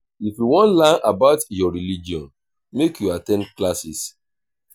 if you wan learn more about your religion make you at ten d classes.